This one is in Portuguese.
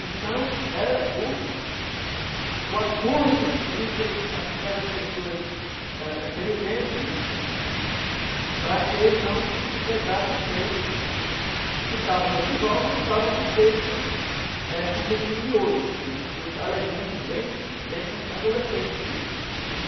Então, era o o acordo entre aquelas pessoas da daquele tempo, né, para que não pegasse o peixe que estava na desova e estava com o peixe, eh com o peixinho miúdo, né, com os alevinos bem bem adolescente ainda, né?